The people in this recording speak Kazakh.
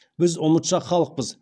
біз ұмытшақ халықпыз